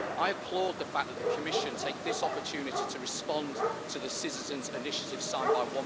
I applaud the fact that the Commission takes this opportunity to respond to the Citizens' Initiative signed by